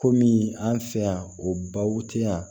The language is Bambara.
Komi an fɛ yan o baw te yan